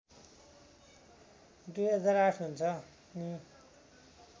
२००८ हुन्छ नि